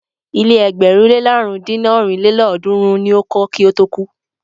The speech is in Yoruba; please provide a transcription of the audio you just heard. Ilé ẹgbẹ̀rún le làrún dín ní ọ́rin lélọ́ọ̀dúnrún ni o kọ́ kí ó tó kú.